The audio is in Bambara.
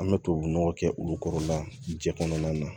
An bɛ tubabunɔgɔ kɛ olu kɔrɔla jɛ kɔnɔna na